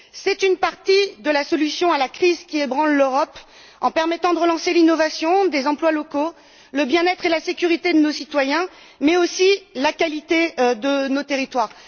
C'est une partie de la solution à la crise qui ébranle l'Europe, permettant de relancer l'innovation des emplois locaux, le bien être et la sécurité de nos citoyens, mais aussi la qualité de nos territoires.